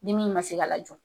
Ni min ma se ka lajɔ.